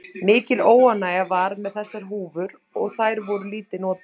Mikil óánægja var með þessar húfur og þær voru lítið notaðar.